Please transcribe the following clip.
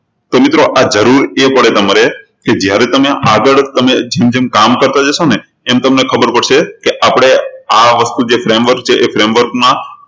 તો મિત્રો આ જરૂર એ પડે તમારે કે જયારે તમે આગળ જેમ જેમ કામ કરતા જશો ને એમ એમ તમને ખબર પડશે કે આપણે આ વસ્તુ જે framework છે એ framework માં